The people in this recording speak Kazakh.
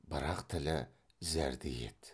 бірақ тілі зәрдей еді